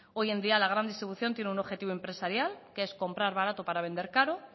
hoy en día la gran distribución tiene un objetivo empresarial que es comprar barato para vender caro